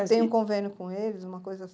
Tem um convênio com eles, uma coisa